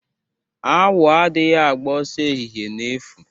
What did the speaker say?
Awo adighi ágbà osoo ehihe n'efu.